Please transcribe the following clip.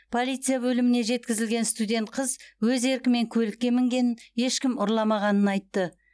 полиция бөліміне жеткізілген студент қыз өз еркімен көлікке мінгенін ешкім ұрламағанын айтты